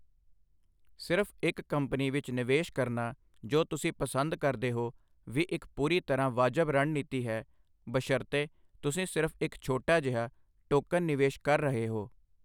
ਸਿਰਫ ਇੱਕ ਕੰਪਨੀ ਵਿੱਚ ਨਿਵੇਸ਼ ਕਰਨਾ ਜੋ ਤੁਸੀਂ ਪਸੰਦ ਕਰਦੇ ਹੋ, ਵੀ ਇੱਕ ਪੂਰੀ ਤਰ੍ਹਾਂ ਵਾਜਬ ਰਣਨੀਤੀ ਹੈ, ਬਸ਼ਰਤੇ ਤੁਸੀਂ ਸਿਰਫ ਇੱਕ ਛੋਟਾ ਜਿਹਾ, ਟੋਕਨ ਨਿਵੇਸ਼ ਕਰ ਰਹੇ ਹੋ।